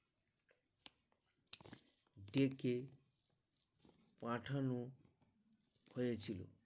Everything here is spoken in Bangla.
ডেকে পাঠানো হয়ে ছিল